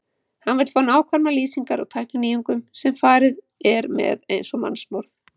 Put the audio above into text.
Hann vill fá nákvæmar lýsingar á tækninýjungum, sem farið er með eins og mannsmorð!